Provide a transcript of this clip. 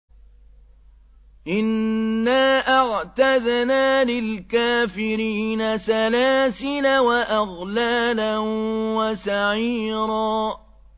إِنَّا أَعْتَدْنَا لِلْكَافِرِينَ سَلَاسِلَ وَأَغْلَالًا وَسَعِيرًا